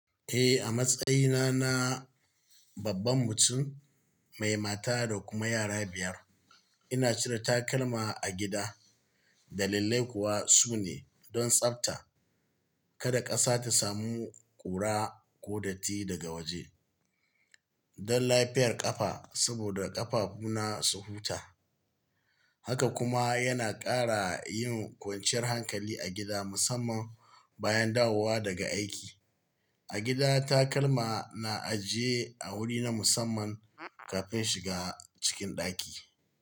Eh, a matsayina na babban mutum mai mata da kuma yara biyar, ina cire takalma a gida. Dalilai kuwa su ne: don tsafta, kada ƙasa ta samu ƙura ko datti daga waje, don lafiyar ƙafa saboda ƙafafuna su huta, haka kuma yana ƙara yin kwanciyar hankali a gida musamman bayan dawowa daga aiki. A gida takalma na ajiye a wuri na musamman kafin shiga cikin ɗaki.